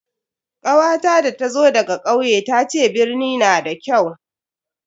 kawata da ta zo daga kauye tace birni na da kyau.